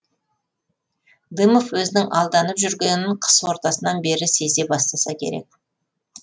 дымов өзінің алданып жүргенін қыс ортасынан бері сезе бастаса керек